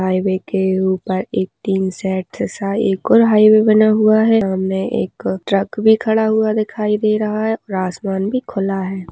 Highway के ऊपर एक टीन सेट जैसा एक और हाइवै बना हुआ है सामने एक ट्रक भी खड़ा हुआ दिखाई दे रहा है और आसमान भी खुला हैं।